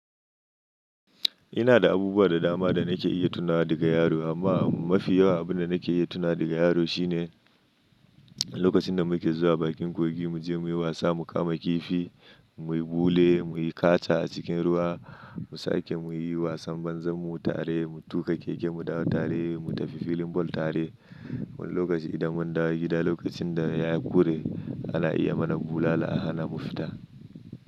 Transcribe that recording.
Ina da abubuwa da dama da nake iya tunawa daga yaro amma mafi yawan abun da nake iya tuna daga yaro shine lokacin da muke zuwa bakin kogi muje muyi wasa, mu kama kifi, muyi bule, muyi kacha a cikin ruwa, mu sake muyi wasan banzan mu tare, mu tuka keke mu dawo tare, mu tafi filin ball tare. Wani lokaci idan mun dawo gida lokacin da yayi ƙure ana iya mana bulala a hana mu fita.